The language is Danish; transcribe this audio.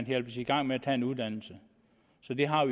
hjælpes i gang med at tage en uddannelse så vi har